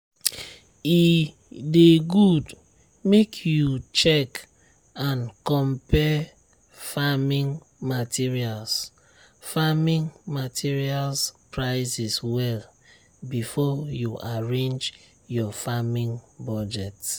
e dey good make you check and compare farming materials farming materials prices well before you arrange your farming budget.